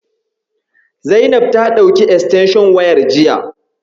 Zainab ta ɗauki estenshon wayar jiya.